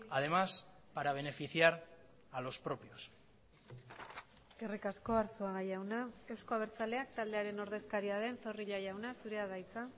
además para beneficiar a los propios eskerrik asko arzuaga jauna euzko abertzaleak taldearen ordezkaria den zorrilla jauna zurea da hitza